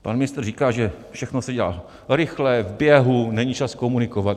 Pan ministr říká, že všechno se dělá rychle, v běhu, není čas komunikovat.